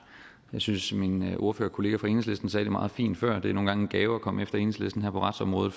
jeg synes min ordførerkollega fra enhedslisten sagde det meget fint før det er nogle gange en gave at komme efter enhedslisten her på retsområdet